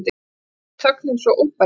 Mér fannst þögnin svo óbærileg.